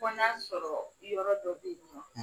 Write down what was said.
Fɔ n'a sɔrɔ yɔrɔ dɔ bɛ yen nɔ